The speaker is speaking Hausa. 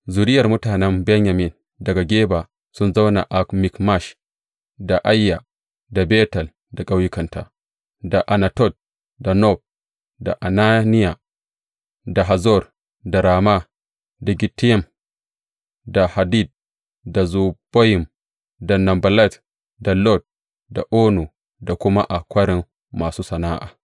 Zuriyar mutanen Benyamin daga Geba sun zauna a Mikmash, da Aiya, da Betel da ƙauyukanta, da Anatot, da Nob, da Ananiya, da Hazor, da Rama, da Gittayim, da Hadid, da Zeboyim, da Neballat, da Lod, da Ono, da kuma a Kwarin Masu sana’a.